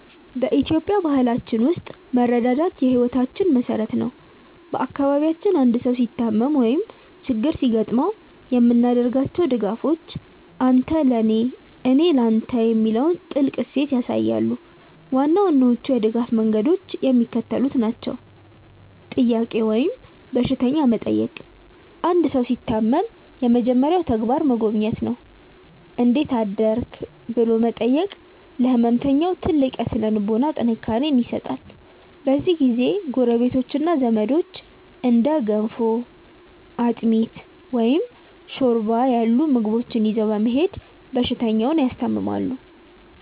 በኢትዮጵያዊ ባህላችን ውስጥ መረዳዳት የሕይወታችን መሠረት ነው። በአካባቢያችን አንድ ሰው ሲታመም ወይም ችግር ሲገጥመው የምናደርጋቸው ድጋፎች "አንተ ለኔ፣ እኔ ለተ" የሚለውን ጥልቅ እሴት ያሳያሉ። ዋና ዋናዎቹ የድጋፍ መንገዶች የሚከተሉት ናቸው፦ "ጥያቄ" ወይም በሽተኛ መጠየቅ አንድ ሰው ሲታመም የመጀመሪያው ተግባር መጎብኘት ነው። "እንዴት አደርክ/ሽ?" ብሎ መጠየቅ ለሕመምተኛው ትልቅ የሥነ-ልቦና ጥንካሬ ይሰጣል። በዚህ ጊዜ ጎረቤቶችና ዘመዶች እንደ ገንፎ፣ አጥሚት፣ ወይም ሾርባ ያሉ ምግቦችን ይዘው በመሄድ በሽተኛውን ያስታምማሉ።